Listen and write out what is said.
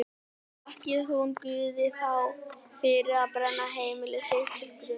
Þakkaði hún Guði þá fyrir að brenna heimili sitt til grunna?